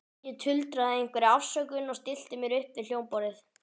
Ég tuldraði einhverja afsökun og stillti mér upp við hljómborðið.